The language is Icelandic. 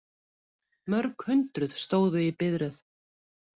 Mörg hundruð stóðu í biðröð